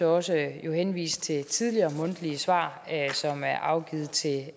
også henvise til tidligere mundtlige svar som er afgivet til